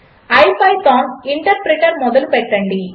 IPython interpreter మొదలు పెట్టండి